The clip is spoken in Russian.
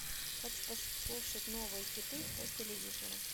хочу послушать новые хиты по телевизору